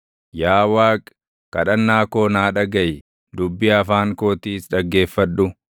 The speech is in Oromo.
Yaa Waaqi, kadhannaa koo naa dhagaʼi, dubbii afaan kootiis dhaggeeffadhu.